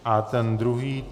A ten druhý?